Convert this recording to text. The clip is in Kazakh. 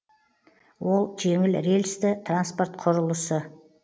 ол жеңіл рельсті транспорт құрылысы